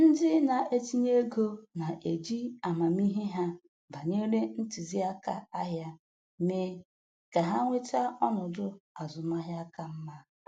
Ndị na-etinye ego na-eji amamihe ha banyere ntụziaka ahịa mee ka ha nweta ọnọdụ azụmaahịa ka mma.